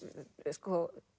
sko